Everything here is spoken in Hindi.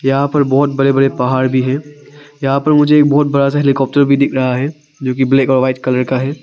यहां पर बहोत बड़े बड़े पहाड़ भी हैं यहां पर मुझे एक बहुत बड़ा से हेलीकॉप्टर भी दिख रहा है जो कि ब्लैक और व्हाइट कलर का है।